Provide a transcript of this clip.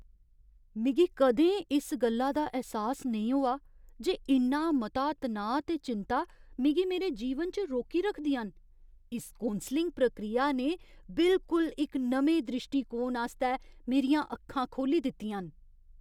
मिगी कदें इस गल्ला दा ऐह्सास नेईं होआ जे इन्ना मता तनाऽ ते चिंता मिगी मेरे जीवन च रोकी रखदियां न। इस कौंसलिङ प्रक्रिया ने बिलकुल इक नमें द्रिश्टीकोण आस्तै मेरियां अक्खां खोह्ल्ली दित्तियां न!